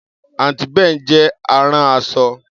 Aunty Bee jẹ́ arán aṣọ.